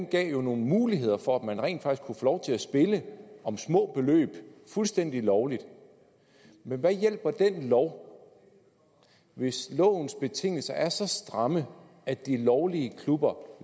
gav nogle muligheder for at man rent faktisk lov til at spille om små beløb fuldstændig lovligt men hvad hjælper den lov hvis lovens betingelser er så stramme at de lovlige klubber